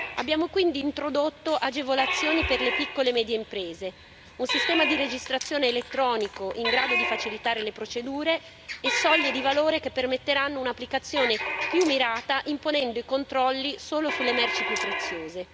Abbiamo quindi introdotto agevolazioni per le piccole e medie imprese, un sistema di registrazione elettronico in grado di facilitare le procedure e soglie di valore che permetteranno un'applicazione più mirata, imponendo i controlli solo sulle merci più preziose.